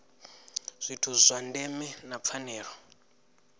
zwithu zwa ndeme na pfanelo